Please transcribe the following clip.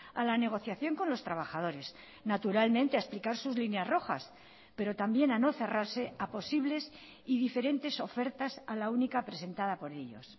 a la negociación con los trabajadores naturalmente a explicar sus líneas rojas pero también a no cerrarse a posibles y diferentes ofertas a la única presentada por ellos